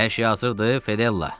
Hər şey hazırdır, Fedella?